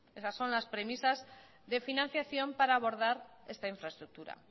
esas son las premisas de financiación para abordar esta infraestructura